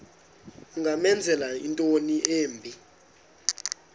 ungamenzela into embi